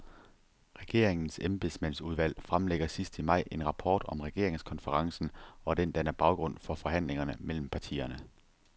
Regeringens embedsmandsudvalg fremlægger sidst i maj en rapport om regeringskonferencen, og den danner baggrund for forhandlingerne mellem partierne.